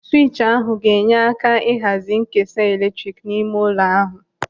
Swịtchi ahụ ga-enye aka ihazi nkesa eletrik n'ime ụlọ ahụ.